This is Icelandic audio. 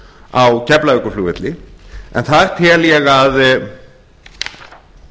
á keflavíkurflugvelli en þar tel ég að